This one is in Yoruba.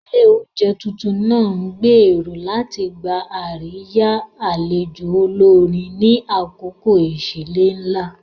Ilé oúnjẹ tuntun náà ń gbèrò láti gba àríyá àlejò olórin ni àkókò ìsílé ńlá.